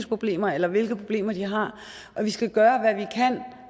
problemer eller hvilke problemer de har vi skal gøre hvad vi kan